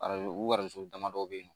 Arajo uronson damadɔ bɛ yen nɔ